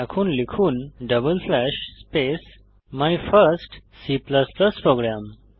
এখন লিখুন double slash space my first C programme